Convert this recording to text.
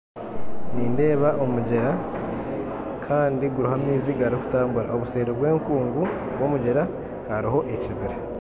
Nindeeba omugyera gw'amaizi garikutambura kandi seeri y'enkungu y'omugyera hariho ekibira